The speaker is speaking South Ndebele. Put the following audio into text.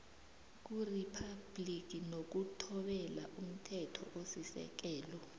kuriphabhligi nokuthobela umthethosisekelo